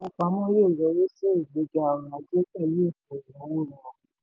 ilé ìfowópamọ yóò yọrìí sí ìgbéga ọrọ̀ ajé pẹ̀lú ètò ìnáwó rọrùn.